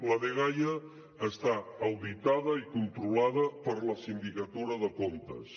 la dgaia està auditada i controlada per la sindicatura de comptes